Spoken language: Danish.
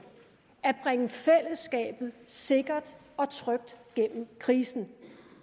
at bringe fællesskabet sikkert og trygt gennem krisen